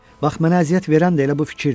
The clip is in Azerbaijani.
Bax mənə əziyyət verən də elə bu fikirdir.